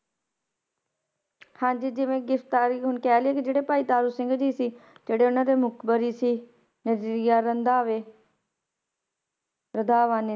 ਹਾਂਜੀ ਜਿਵੇਂ ਗ੍ਰਿਫ਼ਤਾਰੀ ਹੁਣ ਕਹਿ ਲਈਏ ਕਿ ਜਿਹੜੇ ਭਾਈ ਤਾਰੂ ਸਿੰਘ ਜੀ ਸੀ ਜਿਹੜੇ ਉਹਨਾਂ ਦੇ ਮੁਖ਼ਬਰੀ ਸੀ ਨਿਰੰਜਰੀਆ ਰਧਾਵੇ ਰਧਾਵਾਨੇ,